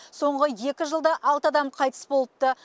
соңғы екі жылда алты адам қайтыс болыпты